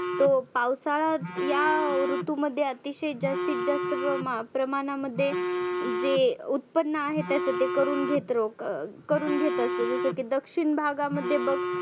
तो पावसाळा या ऋतूमध्ये अतिशय जास्तीत जास्त प्रमा‍ प्रमानामध्ये जे उत्पन्न आहे त्याच ते करुण घेतरो अं करुण घेत असतो जसं की दक्षिण भागामध्ये बघ